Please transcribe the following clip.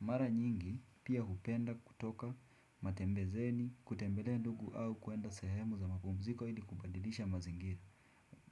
Mara nyingi, pia hupenda kutoka matembezeni, kutembelea ndugu au kuenda sehemu za mapumziko ili kubadilisha mazingiri.